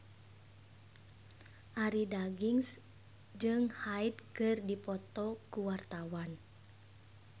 Arie Daginks jeung Hyde keur dipoto ku wartawan